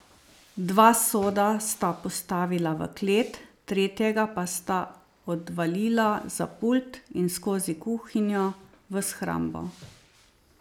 Dva soda sta postavila v klet, tretjega pa sta odvalila za pult in skozi kuhinjo v shrambo.